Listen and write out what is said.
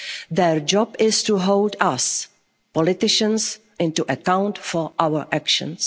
questions. Their job is to hold us politicians to account for our